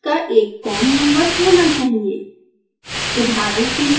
आपके यंत्र का एक com नंबर होना चहिये